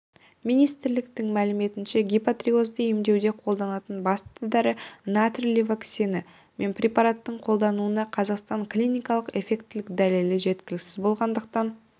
министрліктің мәліметінше гипотириозды емдеуде қолданылатын басты дәрі натрий левотироксині пен препараттарының қолданылуына қазақстанда клиникалық эффектілігі дәлелі жеткіліксіз болғандықтан